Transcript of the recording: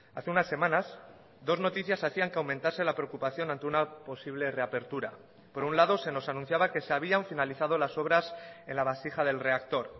hace unas semanas dos noticias hacían que aumentase la preocupación ante una posible reapertura por un lado se nos anunciaba que se habían finalizado las obras en la vasija del reactor